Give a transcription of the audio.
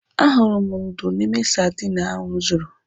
Ahụrụ m ndú n'ime sadin ahụ m zụrụ.